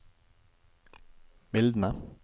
mildne